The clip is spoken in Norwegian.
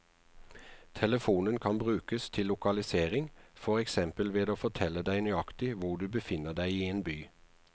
Telefonen kan brukes til lokalisering, for eksempel ved å fortelle deg nøyaktig hvor du befinner deg i en by.